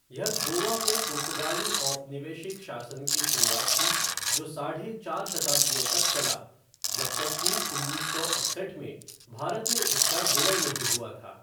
यह गोवा में पुर्तगाली औपनिवेशिक शासन की शुरुआत थी, जो साढ़े चार शताब्दियों तक चला, जब तक कि उन्नीस सौ इकसठ में भारत में इसका विलय नहीं हुआ था।